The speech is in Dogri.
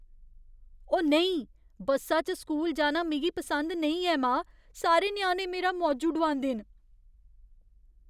ओ नेईं! बस्सा च स्कूल जाना मिगी पसंद नेईं ऐ, मां। सारे ञ्याणे मेरा मौजू डुआंदे न।